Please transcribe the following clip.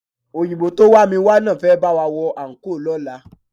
Òyìnbó tó wá mi wá náà fẹ́ bá wa wọ àńkò lọ́la